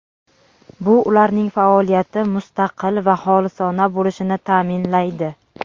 Bu ularning faoliyati mustaqil va xolisona bo‘lishini ta’minlaydi.